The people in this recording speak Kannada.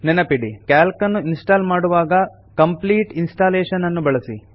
ನೆನಪಿಡಿ ಕ್ಯಾಲ್ಕ್ ನ್ನು ಇನ್ಸ್ಟಾಲ್ ಮಾಡುವಾಗ ಕಂಪ್ಲೀಟ್ ಇನ್ಸ್ಟಾಲೇಷನ್ ಅನ್ನು ಬಳಸಿ